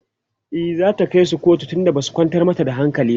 e zata kaisu kotu tun da Basu kwantar mata da hankali ba